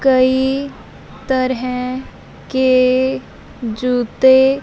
कई तरह के जूते--